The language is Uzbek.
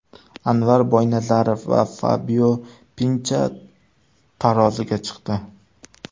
Anvar Boynazarov va Fabio Pincha taroziga chiqdi.